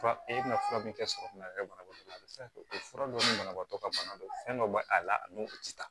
Fura e bɛna fura min kɛ sogokun yɛrɛ banabaatɔ bɛ se ka kɛ o fura dɔ ni banabaatɔ ka bana don fɛn dɔ b'a a la ani o ti taa